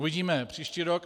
Uvidíme příští rok.